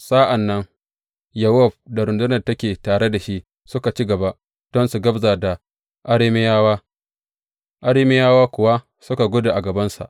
Sa’an nan Yowab da rundunar da take tare da shi suka ci gaba don su gabza da Arameyawa, Arameyawa kuwa suka gudu a gabansa.